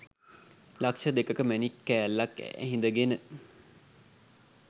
ලක්‍ෂ දෙකක මැණික්‌ කෑල්ලක්‌ ඇහිඳගෙන